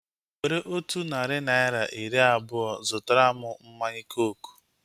Were otu narị naira iri abụọa zụtara mụ mmanya kooku